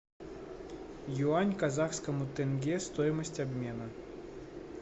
юань к казахскому тенге стоимость обмена